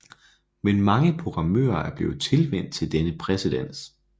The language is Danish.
Men mange programmører er blevet tilvænt til denne præcedens